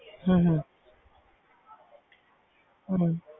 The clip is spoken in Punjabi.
ਹਮ ਹਮ ਹਮ